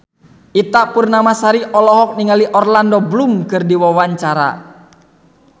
Ita Purnamasari olohok ningali Orlando Bloom keur diwawancara